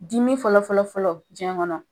Dimi fɔlɔ fɔlɔ fɔlɔ jiɲɛ kɔnɔ